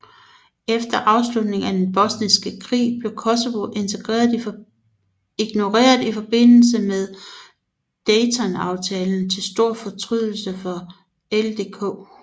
Efter afslutningen af den bosniske krig blev Kosovo ignoreret i forbindelse med Daytonaaftalen til stor fortrydelse for LDK